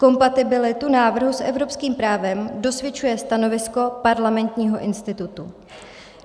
Kompatibilitu návrhu s evropským právem dosvědčuje stanovisko Parlamentního institutu.